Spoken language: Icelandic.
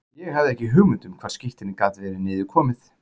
Ég hafði ekki hugmynd um hvar skírteinið gat verið niður komið.